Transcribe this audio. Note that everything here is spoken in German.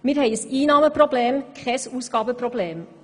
Wir haben ein Einnahmen-, und kein Ausgabenproblem.